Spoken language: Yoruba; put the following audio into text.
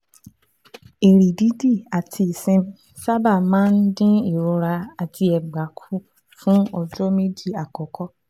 Ìrì dídì àti ìsinmi sábà máa ń dín ìrora àti ẹ̀gbà kù fún ọjọ́ méjì àkọ́kọ́